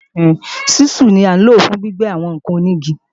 Ṣísù ni à ń lò fún gbígbẹ́ àwọn ǹkan onígi